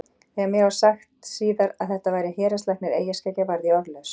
Þegar mér var svo sagt síðar að þetta væri héraðslæknir eyjaskeggja varð ég orðlaus.